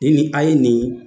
Ni nin a ye nin